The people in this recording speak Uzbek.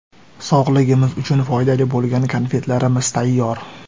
Sog‘lig‘imiz uchun foydali bo‘lgan konfetlarimiz tayyor.